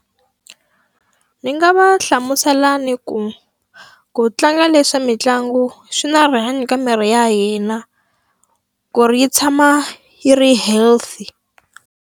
Ni nga va hlamusela ni ku, ku tlanga leswi swa mitlangu swi na rihanyo ka miri ya hina. Ku ri yi tshama yi ri healthy.